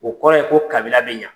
O kɔrɔ ye ko kabila bɛ ɲa.